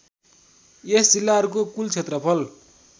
यस जिल्लाहरूको कुल क्षेत्रफल